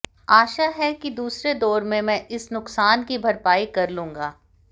आशा है कि दूसरे दौर में मैं इस नुकसान की भरपाई कर लूंगा